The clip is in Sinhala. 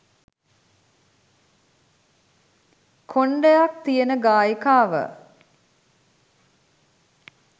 කොණ්ඩයක් තියෙන ගායිකාව.